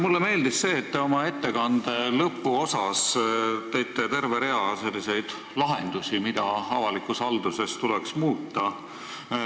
Mulle meeldis, et te oma ettekande lõpuosas tõite välja terve rea lahendusi selle kohta, mida avalikus halduses tuleks muuta.